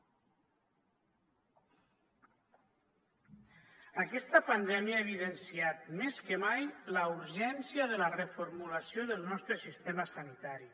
aquesta pandèmia ha evidenciat més que mai la urgència de la reformulació del nostre sistema sanitari